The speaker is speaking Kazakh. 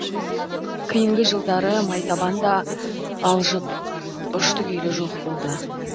кейінгі жылдары майтабан да алжып ұшты күйлі жоқ болды